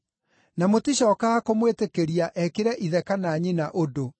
na mũticookaga kũmwĩtĩkĩria ekĩre ithe kana nyina ũndũ.